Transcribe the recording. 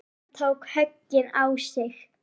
Hann tók höggin á sig.